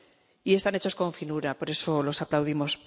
Y están hechos con finura, por eso los aplaudimos.